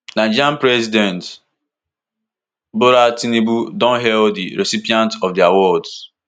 nigeria president bola tinubu don hail di recipients of di awards